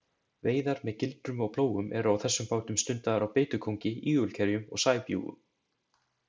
Veiðar með gildrum og plógum eru á þessum bátum stundaðar á beitukóngi, ígulkerjum og sæbjúgum.